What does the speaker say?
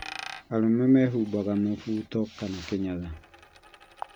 Arũme mehumbaga mũbuto kana kĩnyatha